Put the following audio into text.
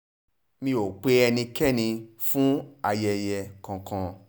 mi ò pe ẹnikẹ́ni fún ayẹyẹ kankan